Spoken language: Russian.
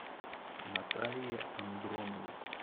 наталье андроновой